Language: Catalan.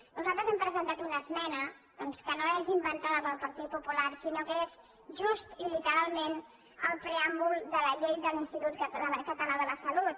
nosaltres hem presentat una es·mena que no és inventada pel partit popular sinó que és just i literalment el preàmbul de la llei de l’ins·titut català de la salut